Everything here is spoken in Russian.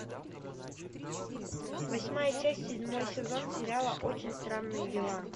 восьмая часть седьмой сезон сериала очень странные дела